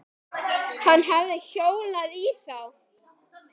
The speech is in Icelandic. Hann hefði hjólað í þá.